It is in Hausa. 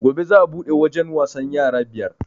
Gobe za a buɗe wajen wasan yara biyar